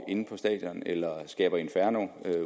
inde på stadion eller skaber inferno